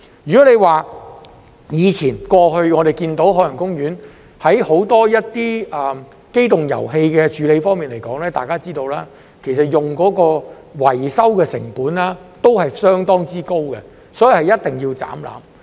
如果說到過去，我們看到海洋公園在很多機動遊戲處理方面，如大家所知，所用的維修成本其實相當高，所以一定要"斬纜"。